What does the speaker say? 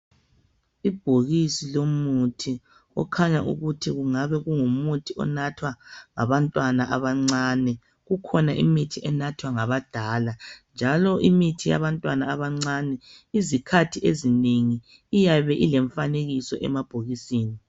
Ibhokisi lomuthi okhanya ukuthi kungabe kungumuthi onathwa ngabantwana abancane. Kukhona imithi enathwa ngabadala, njalo imithi yabantwana abancane izikhathi ezinengi iyabe elemiifaanekiso emabhokisini.